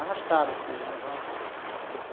Arrastado assim, levava.